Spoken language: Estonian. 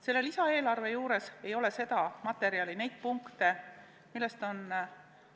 Selle lisaeelarve juures ei ole seda materjali, neid punkte, millest midagi selgelt näeb.